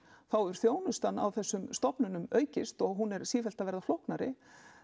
þá hefur þjónustan á þessum stofnunum aukist hún er sífellt að verða flóknari